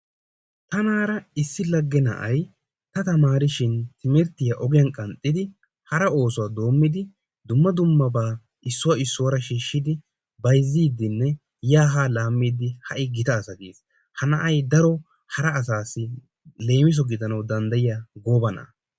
Tanaara issi lagge na'ay ta taamarishin timirttiyaa ogiyaan qanxxidi hara oosuwaa doommidi dumma dummabaa issuwaa issuwaara shiishidi bayzziidinne yaa haa laammiidi ha'i gita asa kiyii. Ha na'ay daro hara asaasi leemiso gidanawu danddayiyaa gooba na'aa.